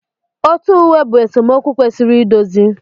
Otu uwe bụ esemokwu kwesịrị idozi.